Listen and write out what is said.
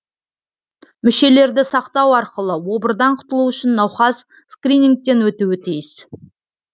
мүшелерді сақтау арқылы обырдан құтылу үшін науқас скринингтен өтуі тиіс